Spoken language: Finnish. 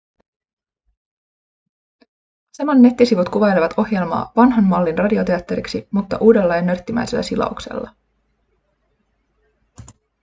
aseman nettisivut kuvailevat ohjelmaa vanhan mallin radioteatteriksi mutta uudella ja nörttimäisellä silauksella